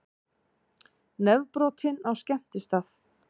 Nefbrotinn á skemmtistað